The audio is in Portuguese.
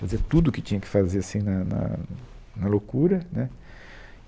fazia tudo o que tinha que fazer assim, na na na loucura, né